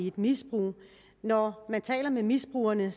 i et misbrug når man taler med misbrugerne